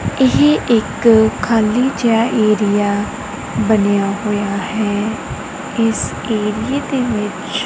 ਇਹ ਇੱਕ ਖਾਲੀ ਜਿਹਾ ਏਰੀਆ ਬਣਿਆ ਹੋਇਆ ਹੈ ਇਸ ਏਰੀਏ ਦੇ ਵਿੱਚ--